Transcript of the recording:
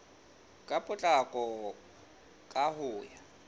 ka potlako ka ho ya